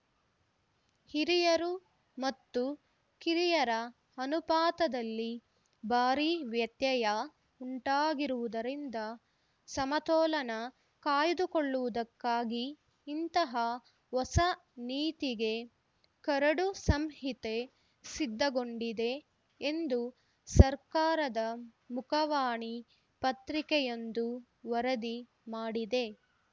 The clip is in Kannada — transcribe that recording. ಹಿರಿಯರು ಮತ್ತು ಕಿರಿಯರ ಅನುಪಾತದಲ್ಲಿ ಭಾರಿ ವ್ಯತ್ಯಯ ಉಂಟಾಗಿರುವುದರಿಂದ ಸಮತೋಲನ ಕಾಯ್ಡುಕೊಳ್ಳುವುದಕ್ಕಾಗಿ ಇಂತಹ ಹೊಸ ನೀತಿಗೆ ಕರಡು ಸಂಹಿತೆ ಸಿದ್ಧಗೊಂಡಿದೆ ಎಂದು ಸರ್ಕಾರದ ಮುಖವಾಣಿ ಪತ್ರಿಕೆಯೊಂದು ವರದಿ ಮಾಡಿದೆ